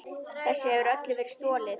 Þessu hefur öllu verið stolið!